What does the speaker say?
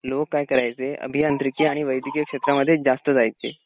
लोक काय करायचे अभियांत्रिकी आणि वैद्यकीय क्षेत्रामध्येच जास्त जायचे.